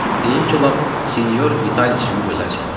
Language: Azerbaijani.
Deyim ki, lap Sinyor Vitalis kimi gözəl çalırdı.